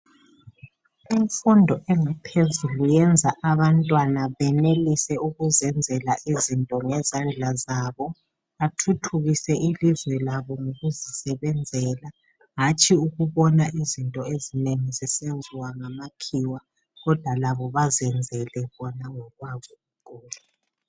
Imfundo engaphezulu yenza abantwana benelise ukuzenzela izinto ngezandla zabo bathuthukise ilizwe labo ngokuzisebenzela. Hatshi ukubona izinto ezinengi zisenziwa ngamakhiwa, kodwa labo bezenzele bona ngokwabo.